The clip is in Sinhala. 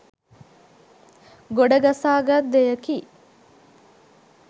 ගොඩ ගසා ගත් දෙයකි